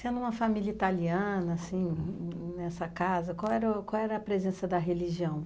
Sendo uma família italiana, assim, nessa casa, qual era qual era a presença da religião?